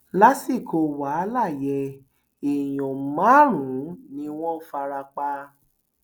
lásìkò wàhálà yẹn èèyàn márùnún ni wọn fara pa